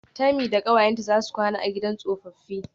Temi da kawayenta zasu kwana a gidan tsofaffi.